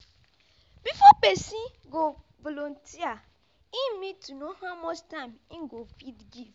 before person go volunteer im need to know how much time im go fit give